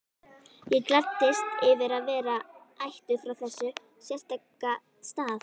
Ég gladdist yfir að vera ættuð frá þessum sérstaka stað.